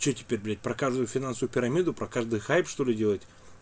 что теперь блять показываю финансовую пирамиду про каждый хайп что ли делать